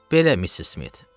Belə, Missis Smit.